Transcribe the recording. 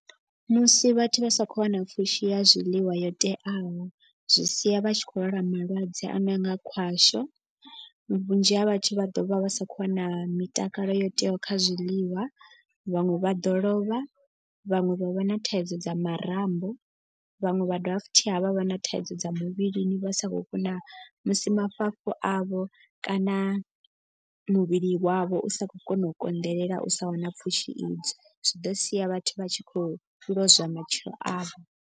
Musi vhathu vha sa kho wana pfhushi ya zwiḽiwa yo teaho zwi sia vha tshi khou lwala malwadze a no nga khwasho. Vhunzhi ha vhathu vha ḓo vha vha sa khou wana mitakalo yo teaho kha zwiḽiwa. Vhaṅwe vha ḓo lovha vhaṅwe vha vha na thaidzo dza marambo. Vhaṅwe vha dovha futhi havha vha na thaidzo dza muvhilini vha sa khou kona musi mafhafhu avho kana muvhili wavho u sa khou kona u konḓelela u sa wana pfhushi idzo. Zwi ḓo sia vhathu vha tshi khou lozwa matshilo avho.